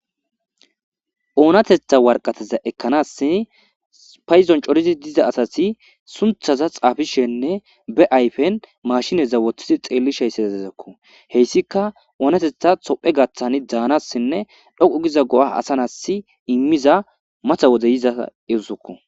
oonatetha warqateza ekkanas payizon corizi diza asati sunthaza xaafishenne be ayfen mashineza woththidi xeelisheysazezakko, heyssika oonatetha tophe gaththan daanassinne dhoqu giza go7a asanas immiza mata wode yiza erisokko.